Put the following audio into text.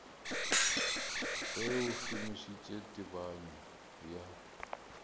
ge a šomišitše tebanyo ya